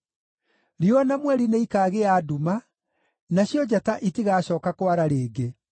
Riũa na mweri nĩikaagĩa nduma, nacio njata itigacooka kwara rĩngĩ.